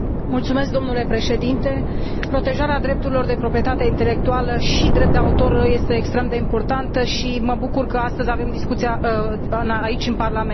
Domnule Președinte, protejarea drepturilor de proprietate intelectuală și a drepturilor de autor este extrem de importantă și mă bucur că astăzi avem discuția aici, în Parlament.